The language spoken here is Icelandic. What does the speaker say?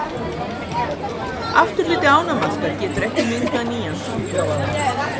afturhluti ánamaðka getur ekki myndað nýjan framhluta